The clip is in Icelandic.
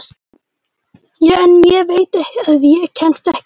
En ég veit að ég kemst ekki að.